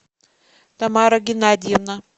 тамара геннадьевна